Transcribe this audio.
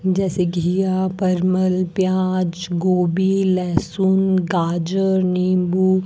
जैसे घीया परमल प्याज गोभी लहसुन गाजर नींबू --